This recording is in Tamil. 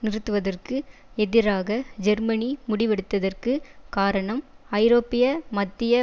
நிறுத்துவதற்கு எதிராக ஜெர்மனி முடிவெடுத்ததற்குக் காரணம் ஐரோப்பிய மத்திய